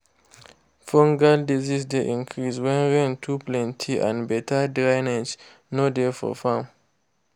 fungal disease dey increase when rain too plenty and better drainage no dey for farm.